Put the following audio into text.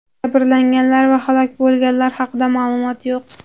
Jabrlanganlar va halok bo‘lganlar haqida ma’lumot yo‘q.